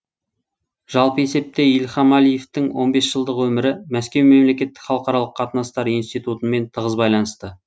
жалпы есепте ильхам әлиевтің он бес жылдық өмірі мәскеу мемлекеттік халықаралық қатынастар институтымен тығыз байланысты